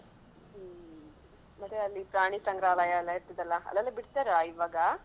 ಹ್ಮ್ ಮತ್ತೆ ಅಲ್ಲಿ ಪ್ರಾಣಿ ಸಂಗ್ರಹಾಲಯೆಲ್ಲಾ ಇರ್ತದೆಲ್ಲಾ ಅಲ್ಲೆಲ್ಲಾ ಬಿಡ್ತಾರ ಇವಾಗ?